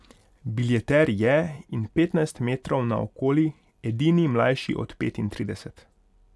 Biljeter je in petnajst metrov naokoli edini mlajši od petintrideset.